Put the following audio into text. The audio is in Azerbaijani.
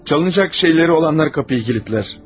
Çalınacaq şeyləri olanlar qapını kilidləyər.